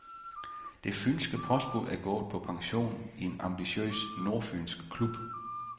Det fynske postbud er gået på pension i en ambitiøs nordfynsk klub.